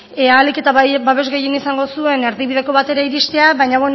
ahalik eta babes gehien izango zuen erdibideko batera iristea baina